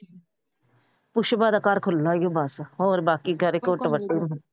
ਪੁਸ਼ਪਾ ਦਾ ਈ ਘਰ ਖੁੱਲ੍ਹਾ ਈ ਬਸ। ਹੋਰ ਬਾਕੀ ਸਾਰੇ ਘੁੱਟ ਵੱਟੂ।